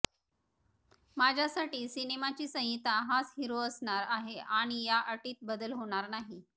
माझ्यासाठी सिनेमाची संहिता हाच हिरो असणार आहे आणि या अटीत बदल होणार नाही